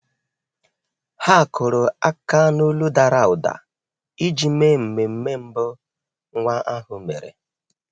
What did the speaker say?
Há kụ́rụ́ áká n’ólu dàrà ụ́dà iji mèé mmemme mbụ nwa ahụ mèrè.